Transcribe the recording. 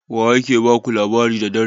Wa ya ke ba ku labari da dare?